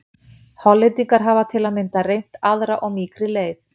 Hollendingar hafa til að mynda reynt aðra og mýkri leið.